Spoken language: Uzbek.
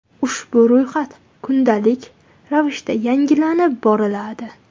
Ushbu ro‘yxat kundalik ravishda yangilanib boriladi.